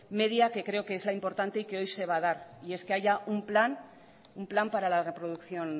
media que creo que es la importante y creo que hoy se va a dar y es que haya un plan para la producción